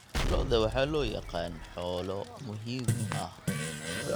Lo'da waxaa loo yaqaan "xoolo muhiim ah".